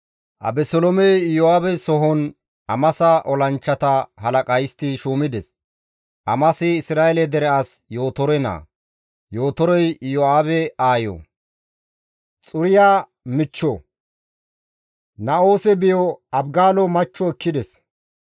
Abeseloomey Iyo7aabe sohon Amasa olanchchata halaqa histti shuumides; Amasi Isra7eele dere as Yootore naa; Yootorey Iyo7aabe aayo, Xuriya michcho, Na7oose biyo Abigaalo machcho ekkides.